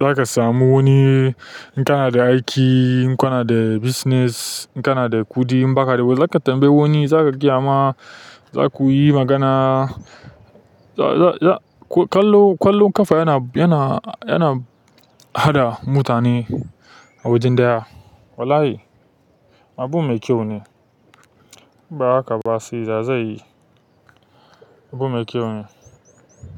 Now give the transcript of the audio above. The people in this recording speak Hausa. za ka samu wani in kana da aiki, in kana da business, in kana da kuɗi in ba ka da ba zaka tambayi wani, za ka gayama, za ku yi magana. Ƙwallon ƙwallon ƙafa yana, yana, yana haɗa mutane a wajen ɗaya. Wallahi abu mai kyau ne. Ba haka ba sai ya zai yi. Abu mai kyau ne.